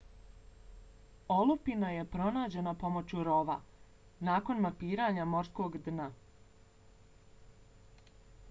olupina je pronađena pomoću rov-a nakon mapiranja morskog dna